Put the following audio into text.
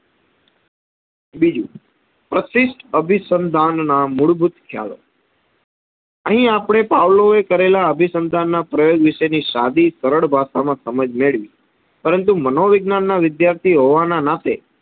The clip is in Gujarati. બીજું પ્રશિસ્ટ અભિસંધાન ના મૂળભૂત ખ્યાલો. અહી આપણે પાવલોએ કરેલા અભિસંધાનના પ્રયોગ વિષેની સાદી સરડ ભાષામાં સમજ મેડવી પરંતુ મનોવિજ્ઞાનના વિધ્યાર્થી હોવાના નાતે